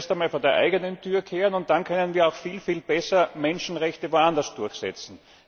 Wir müssen zuerst einmal vor der eigenen Tür kehren und dann können wir auch viel besser Menschenrechte woanders durchsetzen.